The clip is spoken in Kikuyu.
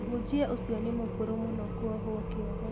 Mũhunjia ũcio nĩ mũkũrũ mũno kũohwo kĩoho